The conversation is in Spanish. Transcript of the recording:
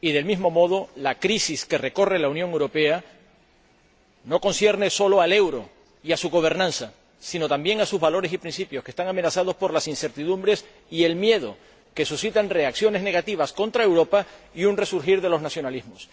Y del mismo modo, la crisis que recorre la Unión Europea no concierne solo al euro y a su gobernanza, sino, también, a sus valores y principios, que están amenazados por las incertidumbres y el miedo que suscitan reacciones negativas contra Europa y un resurgir de los nacionalismos.